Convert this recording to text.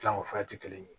Dilan o fura ti kelen ye